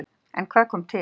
En hvað kom til?